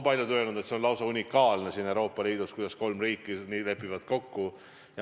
Paljud on öelnud, et see on lausa unikaalne Euroopa Liidus, kuidas kolm riiki lepivad niimoodi kokku.